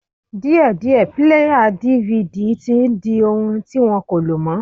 Díẹ̀díẹ̀ píléyà DVD tí n di ohun ti wọ́n kò lò mọ́